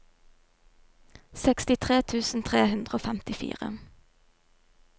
sekstitre tusen tre hundre og femtifire